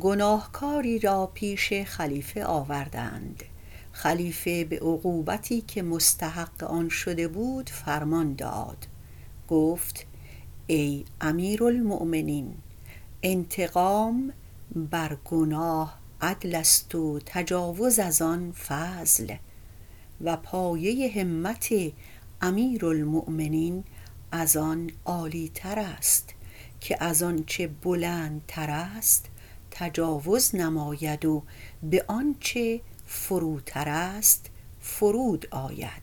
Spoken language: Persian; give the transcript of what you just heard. گناهکاری را پیش خلیفه آوردند خلیفه به عقوبتی که مستحق آن شده بود فرمان داد گفت ای امیرالمؤمنین انتقام بر گناه عدل است و تجاوز از آن فضل و پایه همت امیرالمؤمنین از آن عالیتر است که از آنچه بلندتر است تجاوز نماید و به آنچه فروتر است فرود آید